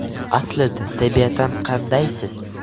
Aslida, tabiatan qandaysiz?